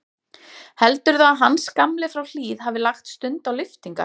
Heldurðu að Hans gamli frá Hlíð hafi lagt stund á lyftingar?